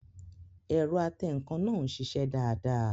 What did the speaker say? Ẹ̀rọ atẹǹkan náà ń sisẹ́ dáadáa